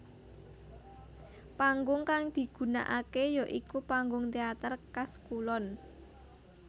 Panggung kang digunakake ya iku panggung teater kas kulon